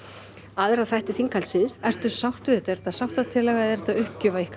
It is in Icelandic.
aðra þætti þinghaldsins ertu sátt við þetta er þetta sáttatillaga eða er þetta uppgjöf af ykkar